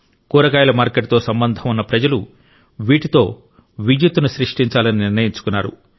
కూరగాయల మార్కెట్తో సంబంధం ఉన్న ప్రజలు వీటితో విద్యుత్తును సృష్టించాలని నిర్ణయించుకున్నారు